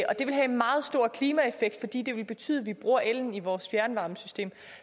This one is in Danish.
have en meget stor klimaeffekt fordi det ville betyde at vi bruger ellen i vores fjernvarmesystem